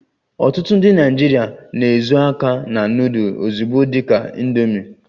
Ọtụtụ ndị Naịjirịa na-ezo aka na nudul ozugbo dị ka "indomi"